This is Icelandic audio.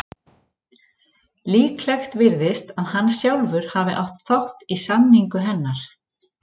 Líklegt virðist að hann sjálfur hafi átt þátt í samningu hennar.